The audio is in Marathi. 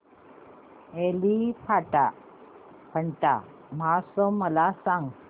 एलिफंटा महोत्सव मला सांग